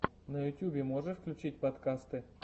на ютьюбе можешь включить подкасты